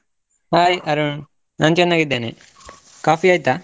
Hai Arun ನಾನು ಚೆನ್ನಾಗಿದ್ದೇನೆ. Coffee ಆಯ್ತಾ?